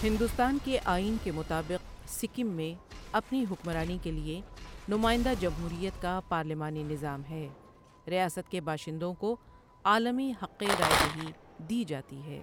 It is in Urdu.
ہندوستان کے آئین کے مطابق، سکم میں اپنی حکمرانی کے لیے نمائندہ جمہوریت کا پارلیمانی نظام ہے، ریاست کے باشندوں کو عالمی حق رائے دہی دی جاتی ہے۔